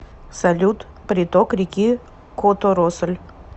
салют приток реки которосль